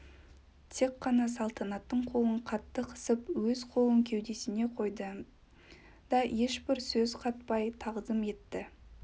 тек қана салтанаттың қолын қатты қысып өз қолын кеудесіне қойды да ешбір сөз қатпай тағзым етті